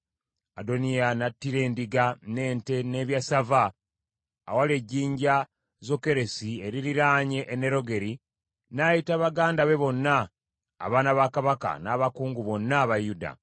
Adoniya n’attira endiga n’ente n’ebyassava awali ejjinja Zokeresi eririraanye Enerogeri, n’ayita baganda be bonna, abaana ba kabaka, n’abakungu bonna aba Yuda,